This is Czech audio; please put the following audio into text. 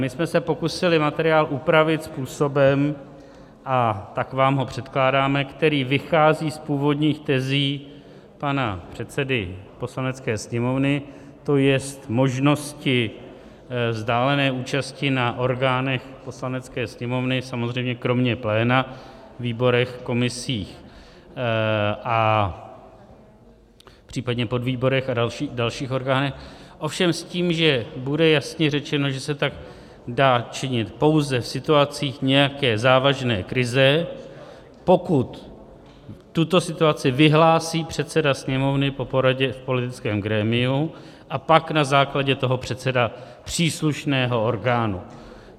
My jsme se pokusili materiál upravit způsobem - a tak vám ho předkládáme - který vychází z původních tezí pana předsedy Poslanecké sněmovny, to je možnosti vzdálené účasti na orgánech Poslanecké sněmovny, samozřejmě kromě pléna, výborech, komisích, případně podvýborech a dalších orgánech, ovšem s tím, že bude jasně řečeno, že se tak dá činit pouze v situacích nějaké závažné krize, pokud tuto situaci vyhlásí předseda Sněmovny po poradě v politickém grémiu a pak na základě toho předseda příslušného orgánu.